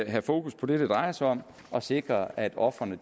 have fokus på det det drejer sig om og sikre at ofrene